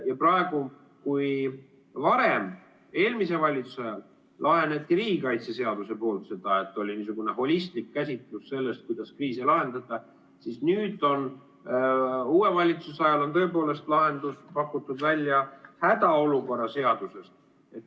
Ja kui varem, eelmise valitsuse ajal lahendati seda riigikaitseseadusega, oli niisugune holistlik käsitlus sellest, kuidas kriise lahendada, siis nüüd uue valitsuse ajal on tõepoolest lahendus pakutud välja hädaolukorra seaduses.